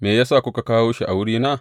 Me ya sa kuka kawo shi a wurina?